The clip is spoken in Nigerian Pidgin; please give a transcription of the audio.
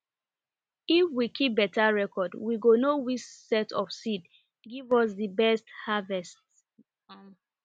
if we keep beta reocrd we go know which set of seed give us di best harvest um